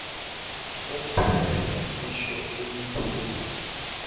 umphumela itjho imiphumela